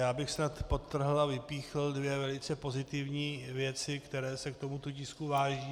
Já bych snad podtrhl a vypíchl dvě velice pozitivní věci, které se k tomuto tisku váží.